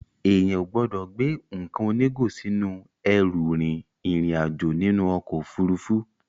Èèyàn ò gbọ́dọ̀ gbé nǹkan onígò sínú ẹrù rin ìrìn àjò nínú ọkọ̀ Òfurufú.